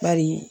Bari